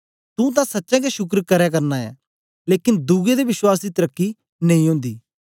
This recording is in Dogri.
तू तां सचें गै शुक्र करै करना ऐ लेकन दुए दे विश्वास दी तरकी नेई ओंदी